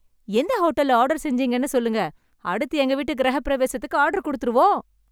எந்த ஹோட்டல்ல ஆர்டர் செஞ்சீங்கன்னு சொல்லுங்க, அடுத்து எங்க வீட்டு கிரகப் பிரவேசத்துக்கு ஆர்டர் குடுத்துடுவோம்.